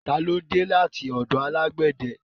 Ta ni ó dé láti ọ̀dọ̀ alágbède?